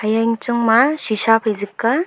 iya yang chang ma shisha phai zing ka.